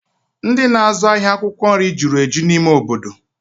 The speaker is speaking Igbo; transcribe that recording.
Ndị na-azụ ahịa akwụkwọ nri jụrụ eju n'ime obodo